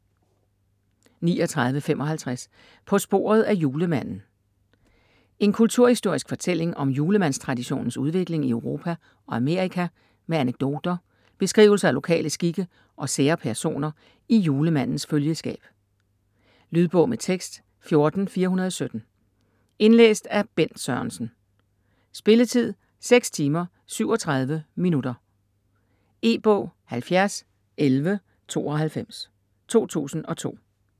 39.55 På sporet af julemanden En kulturhistorisk fortælling om julemandstraditionens udvikling i Europa og Amerika med anekdoter, beskrivelser af lokale skikke og sære personer i julemandens følgeskab. Lydbog med tekst 14417 Indlæst af Bent Sørensen Spilletid: 6 timer, 37 minutter. E-bog 701192 2002.